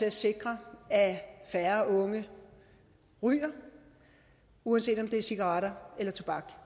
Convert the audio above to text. at sikre at færre unge ryger uanset om det er cigaretter eller